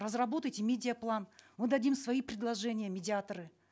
разработайте медиа план мы дадим свои предложения медиаторы